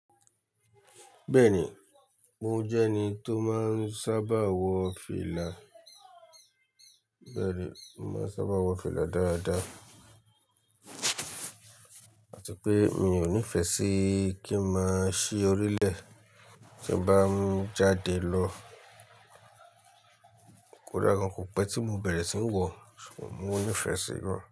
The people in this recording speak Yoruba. Bẹ́ẹ̀ni, mo jẹ́ ẹni tó máa ń sábà wọ fìlà. Bẹ́ẹ̀ni, mo sábà wọ fìlà dáadáa àti pé mi ò nífẹ̀ẹ́ sí kí máa ṣí orílẹ̀ tí mo bá ń jáde lọ kódà gan kò pẹ́ tí mo bẹ̀rẹ̀ sí ń wọ, ṣùgbọ́n mo nífẹ̀ẹ́ sí gan.